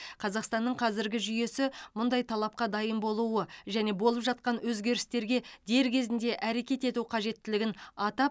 қазақстанның қазіргі жүйесі мұндай талапқа дайын болуы және болып жатқан өзгерістерге дер кезінде әрекет ету қажеттілігін атап